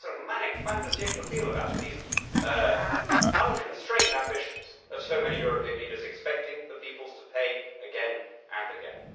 This has a somewhat manic fin de siècle feel about it, these unconstrained ambitions of so many European leaders expecting the peoples to pay, again and again.